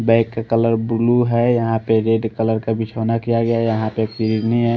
bag का colour blue है यहाँ पे रेड कलर का बिछोना किया गया है यहाँ पे --